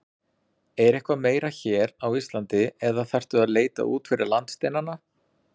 Er eitthvað meira hér á Íslandi eða þarftu að leita út fyrir landsteinana?